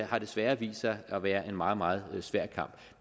har desværre vist sig at være en meget meget svær kamp